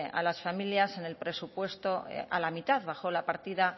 a las familias en el presupuesto a la mitad bajó la partida